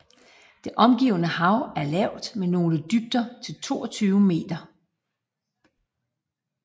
Det omgivende hav er lavt med nogle dybder til 22 meter